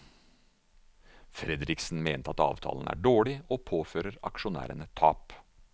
Fredriksen mener at avtalen er dårlig og påfører aksjonærene tap.